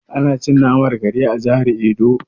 Ana cin naman kare a jihar edo.